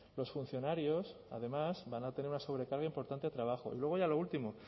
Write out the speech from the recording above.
los funcionarios además van a tener una sobrecarga importante de trabajo y luego ya lo último